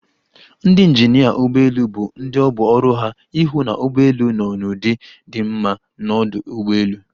Ndị injinịa ụgbọelu bụ ndị ọ bụ ọrụ ha ịhụ na ụgbọelu nọ n'ụdị di mma n'ọdụ ụgbọelu.